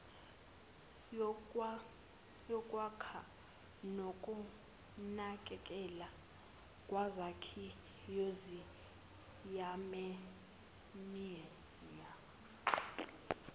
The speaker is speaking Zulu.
yokwakha nokunakekelwa kwezakhiwoziyamenywa